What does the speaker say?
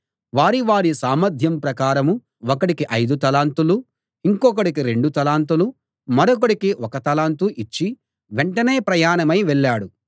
వారి వారి సామర్ధ్యం ప్రకారం ఒకడికి ఐదు తలాంతులూ ఇంకొకడికి రెండు తలాంతులూ మరొకడికి ఒక్క తలాంతూ ఇచ్చి వెంటనే ప్రయాణమై వెళ్ళాడు